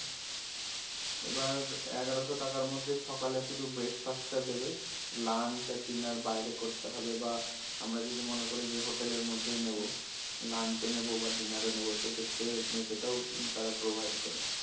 এবার এগারোশো টাকার মধ্যে সকালে শুধু breakfast টা দেবে lunch আর dinner বাইরে করতে হবে বা আমরা যদি মনে করি যে হোটেলের মধ্যেই নেব lunch ও নেবো বা dinner ও নেবো সেক্ষেত্রে সেটাও তারা provide করে